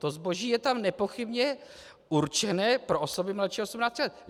To zboží je tam nepochybně určené pro osoby mladší 18 let.